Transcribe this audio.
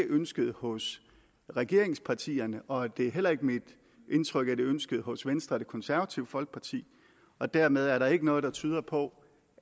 ønske hos regeringspartierne og det er heller ikke mit indtryk at det ønske hos venstre og det konservative folkeparti og dermed er der ikke noget der tyder på